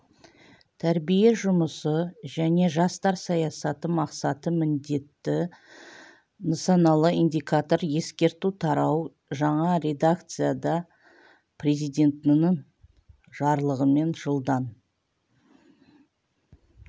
тәрбие жұмысы және жастар саясаты мақсаты міндеті нысаналы индикатор ескерту тарау жаңа редакцияда президентінің жарлығымен жылдан